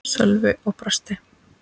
Sölvi og brosti.